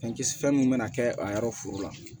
Fɛn kisi fɛn mun bɛna kɛ a yɔrɔ foro la